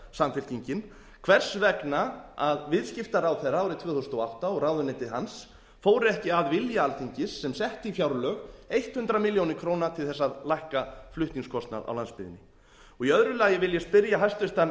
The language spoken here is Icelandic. samfylkingin hvers vegna að viðskiptaráðherra árið tvö þúsund og átta og ráðuneyti hans fóru ekki að vilja alþingis sem setti í fjárlög hundrað milljónir króna til þess að lækka flutningskostnað á landsbyggðinni og í öðru lagi vil ég spyrja hæstvirtan